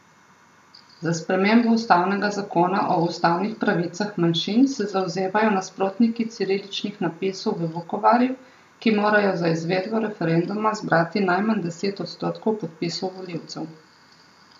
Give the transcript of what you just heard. Za spremembo ustavnega zakona o ustavnih pravicah manjšin se zavzemajo nasprotniki ciriličnih napisov v Vukovarju, ki morajo za izvedbo referenduma zbrati najmanj deset odstotkov podpisov volivcev.